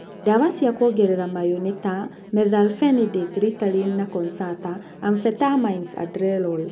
Ndawa cia kuongera mayũ nĩ ta methylphenidate (Ritalin and Concerta), and amphetamines (Adderall).